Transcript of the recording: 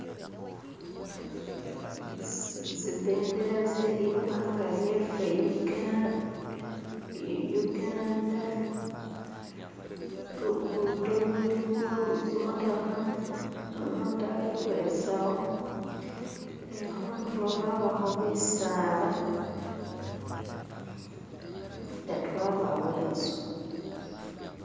Zibendela ze ligwanga lyefe Uganda. Lugudo luliwo ni zimotoka nu'muntu ali kwezawo ni kuntulo kwabako bisaala, agati wabawo inzu.